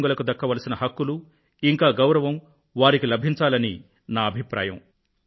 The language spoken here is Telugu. దివ్యాంగులకు దక్కవలసిన హక్కులు ఇంకా గౌరవం వారికి లభించాలి అని నా అభిప్రాయం